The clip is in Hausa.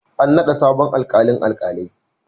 An naɗa sabon alƙalin alkalai.